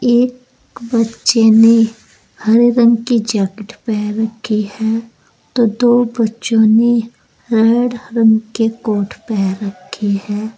एक बच्चे ने हरे रंग की जैकेट पहन रखी है तो दो बच्चों ने रेड रंग के कोट पहन रखे हैं।